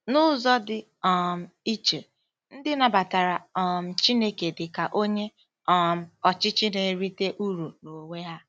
N'ụzọ dị um iche, ndị nabatara um Chineke dị ka Onye um Ọchịchị na-erite uru n'onwe ha.